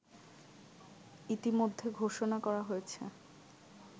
ইতোমধ্যে ঘোষণা করা হয়েছে